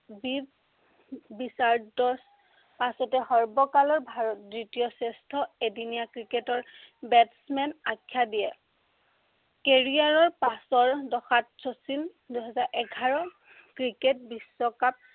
পাছতে সৰ্বকালৰ দ্বিতীয় শ্ৰেষ্ঠ এদিনীয়া ক্ৰিকেটৰ batsman আখ্য়া দিয়ে। carrier ৰ পাছৰ দফাত শচীন দুহেজাৰ এঘাৰৰ ক্ৰিকেট বিশ্বকাপ